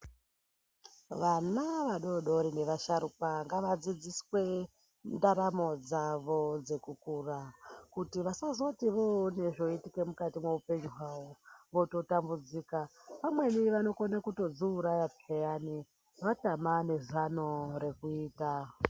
Vana vadodori nevasharukwa ngavadzidziswe ndaramo dzavo dzekukura kuti vasazoti voone zvoitike mukati meupenyu hwavo vototambudzika. Vamweni vanotokona kutodziuraya peyani vatama nezano rekuita.